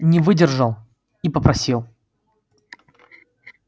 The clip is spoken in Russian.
не выдержал и попросил